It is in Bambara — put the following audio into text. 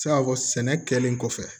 Se ka fɔ sɛnɛ kɛlen kɔfɛ